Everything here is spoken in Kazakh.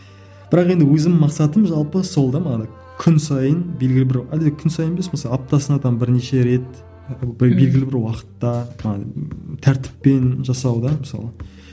бірақ енді өзімнің мақсатым жалпы сол да манағы күн сайын белгілі бір әлде күн сайын емес мысалы аптасына там бірнеше рет белгілі бір уақытта тәртіппен жасалған мысалға